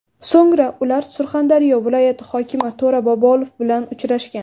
So‘ngra ular Surxondaryo viloyati hokimi To‘ra Bobolov bilan uchrashgan.